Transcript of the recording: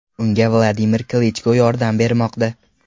Unga Vladimir Klichko yordam bermoqda .